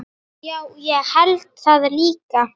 Já, ég held það líka.